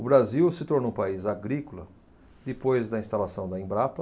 O Brasil se tornou um país agrícola depois da instalação da Embrapa,